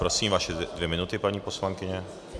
Prosím, vaše dvě minuty, paní poslankyně.